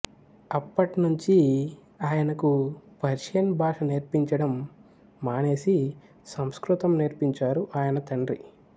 అప్పట్నుంచీ ఆయనకు పర్షియన్ భాష నేర్పించడం మానేసి సంస్కృతం నేర్పించారు ఆయన తండ్రి